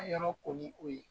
Ne yɔrɔ ko ni o ye